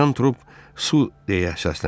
Kapitan Trup, su deyə səsləndi.